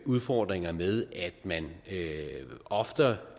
udfordringer med at man ofte